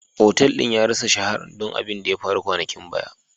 Otal din ya rassa shaharan don abin da ya faru kwanakin baya.